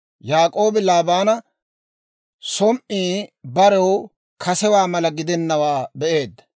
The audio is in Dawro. Yaak'oobi Laabaana som"i barew kasewaa mala gidennawaa be'eedda.